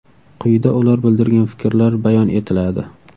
Quyida ular bildirgan fikrlar bayon etiladi.